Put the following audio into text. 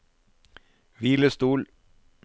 hvilestol